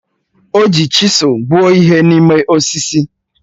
O ji chisụl kpụọ ihe n'ime osisi